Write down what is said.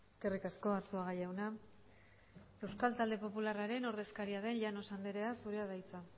eskerrik asko arzuaga jauna euskal talde popularraren ordezkaria den llanos andrea zurea da hitza